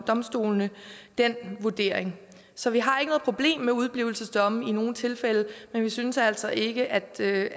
domstolene den vurdering så vi har ikke noget problem med udeblivelsesdomme i nogen tilfælde men vi synes altså ikke at det